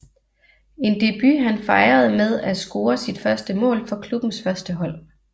En debut han fejrede med at score sit første mål for klubbens førstehold